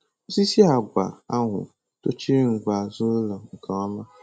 Osisi àgwà ahụ tochịrị ngwe azụ ụlọ nke ọma.